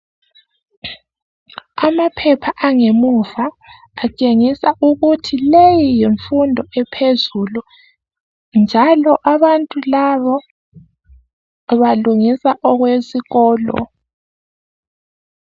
Amaphepha angemuva atshengisa ukuthi leyi yimfundo ephezulu njalo abantu labo balungisa okwesikolo.